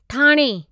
Thane